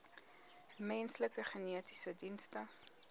menslike genetiese dienste